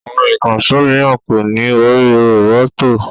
Àwọn ìkànṣó mìíràn kò ní orí roboto